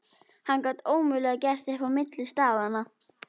Hann gat ómögulega gert upp á milli staðanna.